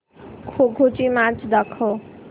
खो खो ची मॅच दाखव